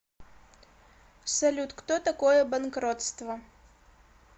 салют кто такое банкротство